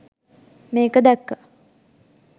මේක දැක්ක